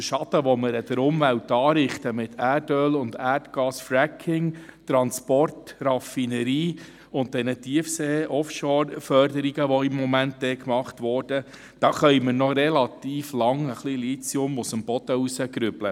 Verglichen mit dem Schaden, den wir der Umwelt mit Erdöl- und Erdgas-Fracking, Transport, Raffinerie und den Tiefsee-OffshoreFörderungen, welche im Moment gemacht werden, anrichten, können wir noch lange etwas Lithium aus dem Boden holen.